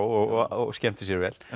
og skemmti sér vel